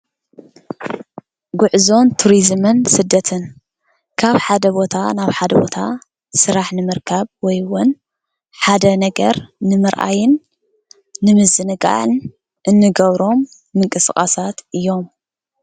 ጉዕዞን ቱሪዝምን ስደትን ካብ ሓደ ቦታ ናብ ሃደ ቦታ ስራሕ ንምርካብ ወይ እውን ሓደ ነገር ንምርኣይን ንምዝንጋዕን እንገብሮም ምቅስቃሳት እዮም።